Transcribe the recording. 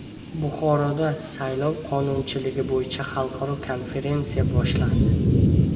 Buxoroda saylov qonunchiligi bo‘yicha xalqaro konferensiya boshlandi.